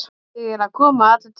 Ég er að koma allur til.